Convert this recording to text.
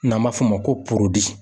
N'an b'a f'o ma ko